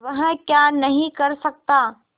वह क्या नहीं कर सकता